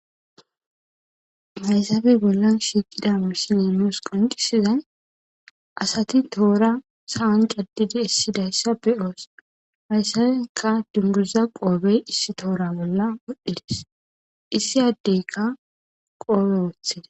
Haysaappe bolla shiiqida misile nusi qonccisidi asati toora sa'an caddidi essida issa be'oos. Hayssanikka dunguza qoobey issi toora bolla wodhdhi des. Issi addeykka qoobe wooththida.